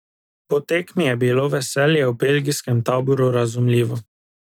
Po tekmi je bilo veselje v belgijskem taboru razumljivo.